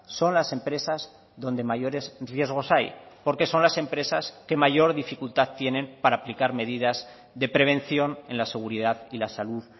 son las empresas donde mayores riesgos hay porque son las empresas que mayor dificultad tienen para aplicar medidas de prevención en la seguridad y la salud